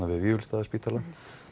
við Vífilsstaðaspítala